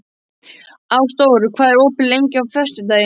Ásdór, hvað er opið lengi á föstudaginn?